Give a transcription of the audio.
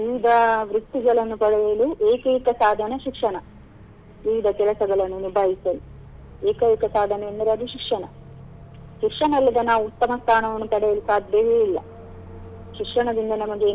ಈಗ ವೃತ್ತಿಗಳನ್ನು ಪಡೆಯಲು ಏಕೈಕ ಸಾಧನ ಶಿಕ್ಷಣ ಈಗ ಕೆಲಸಗಳನ್ನು ನಿಭಾಯಿಸಲು ಏಕೈಕ ಸಾಧನೆ ಅಂದರೆ ಅದು ಶಿಕ್ಷಣ ಶಿಕ್ಷಣ ಇಲ್ಲದೆ ನಾವು ಉತ್ತಮ ಸ್ಥಾನವನ್ನು ಪಡೆಯಲು ಸಾಧ್ಯವೇ ಇಲ್ಲ ಶಿಕ್ಷಣದಿಂದ ನಮಗೆ.